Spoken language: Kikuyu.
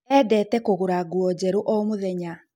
endete kũgũra nguo njeru o mũthenya